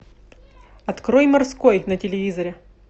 открой морской на телевизоре